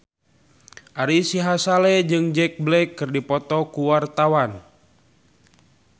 Ari Sihasale jeung Jack Black keur dipoto ku wartawan